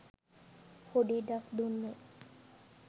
පොඩි ඉඩක් දුන්නේ.